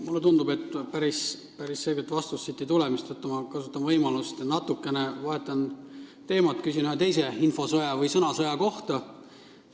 Mulle tundub, et päris selget vastust siit ei tule, mistõttu ma kasutan võimalust ja vahetan natuke teemat: küsin ühe teise info- või sõnasõja kohta.